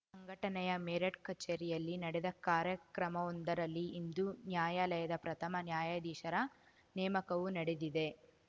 ಸಂಘಟನೆಯ ಮೇರಠ್‌ ಕಚೇರಿಯಲ್ಲಿ ನಡೆದ ಕಾರ್ಯಕ್ರಮವೊಂದರಲ್ಲಿ ಹಿಂದೂ ನ್ಯಾಯಾಲಯದ ಪ್ರಥಮ ನ್ಯಾಯಾಧೀಶರ ನೇಮಕವೂ ನಡೆದಿದೆ